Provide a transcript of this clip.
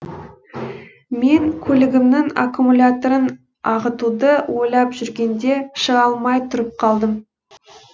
мен көлігімнің аккумуляторын ағытуды ойлап жүргенде шыға алмай тұрып қалдым